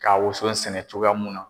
Ka woson sɛnɛ cogoya mun na.